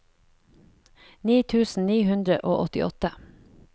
ni tusen ni hundre og åttiåtte